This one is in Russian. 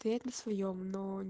на своём